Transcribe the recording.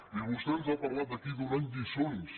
i vostè ens ha parlat aquí donant nos lliçons